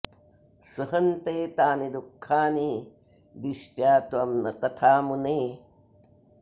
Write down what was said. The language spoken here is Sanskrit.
सहन्ते तानि दुःखानि दिष्ट्या त्वं न तथा मुने